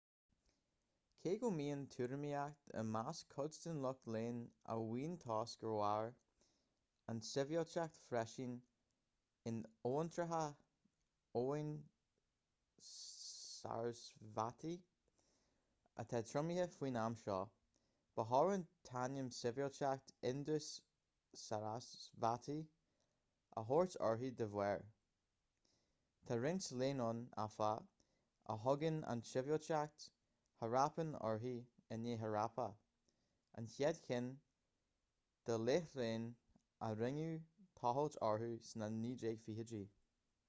cé go mbíonn tuairimíocht i measc cuid den lucht léinn a mhaíonn toisc gur mhair an tsibhialtacht freisin in abhantracha abhainn sarasvati atá triomaithe faoin am seo ba chóir an t-ainm sibhialtacht indus-sarasvati a thabhairt uirthi dá bharr tá roinnt léinn ann áfach a thugann an tsibhialtacht harappan uirthi i ndiaidh harappa an chéad cheann dá láithreáin a rinneadh tochailt orthu sna 1920idí